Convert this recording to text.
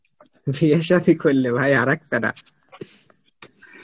বিয়ে সাদি করলে ভাই আর এক প্যারা